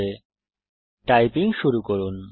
এখন টাইপিং শুরু করুন